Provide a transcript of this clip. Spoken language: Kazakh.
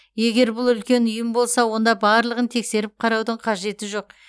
егер бұл үлкен ұйым болса онда барлығын тексеріп қараудың қажеті жоқ